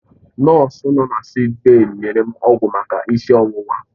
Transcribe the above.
Nọọsụ nọ na sịịk bèyí nyere m ọgwụ maka isi ọwụwa.